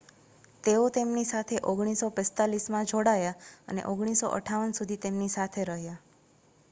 તેઓ તેમની સાથે 1945માં જોડાયા અને 1958 સુધી તેમની સાથે રહ્યા